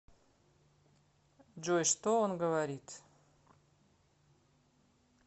джой что он говорит